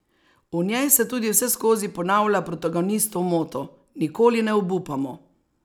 V njej se tudi vseskozi ponavlja protagonistov moto: "Nikoli ne obupamo.